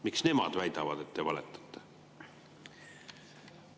Miks nemad väidavad, et te valetate?